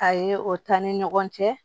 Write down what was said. A ye o taa ni ɲɔgɔn cɛ